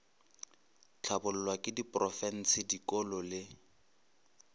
hlabollwa ke diprofense dikolo le